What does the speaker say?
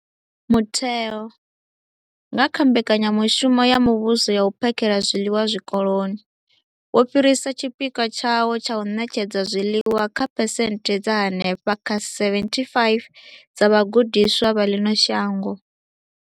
Mutheo, nga kha Mbekanyamushumo ya Muvhuso ya U phakhela zwiḽiwa Zwikoloni, wo fhirisa tshipikwa tshawo tsha u ṋetshedza zwiḽiwa kha phesenthe dza henefha kha 75 dza vhagudiswa vha ḽino shango.